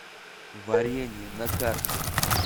варенье на карте